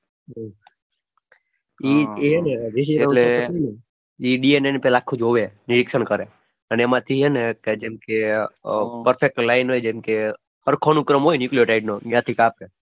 આખું જોવે નિરીક્ષણ કરે અને એમાંથી છે ને જેમ કે perfect line હોય જેમ કે ત્યાંથી કાંપે.